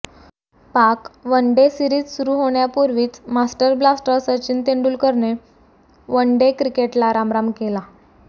पाक one day series सुरु होण्यापूर्वीच मास्टर ब्लास्टर सचिन तेंडुलकरनं वनडे क्रिकेटला रामराम केला